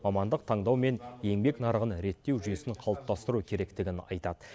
мамандық таңдау мен еңбек нарығын реттеу жүйесін қалыптастыру керектігін айтады